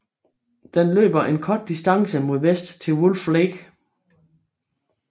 Den løber en kort distance mod vest til Wolf Lake